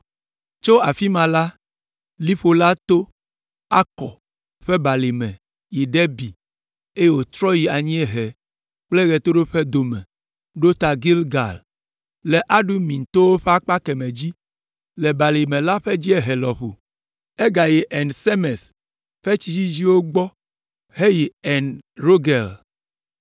Tso afi ma la, liƒo la to Akɔr ƒe balime yi Debir, eye wòtrɔ yi anyiehe kple ɣetoɖoƒe dome ɖo ta Gilgal le Adumim towo ƒe akpa kemɛ dzi, le balime la ƒe dziehe lɔƒo. Egayi En Semes ƒe tsi dzidziwo gbɔ heyi En Rogel.